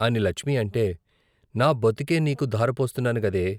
అని లచ్మి అంటే నా బతుకే నీకు దారపోస్తున్నాను గదే.